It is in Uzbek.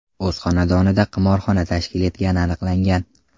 o‘z xonadonida qimorxona tashkil etgani aniqlangan.